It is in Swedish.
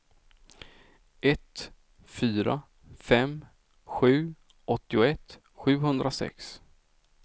ett fyra fem sju åttioett sjuhundrasex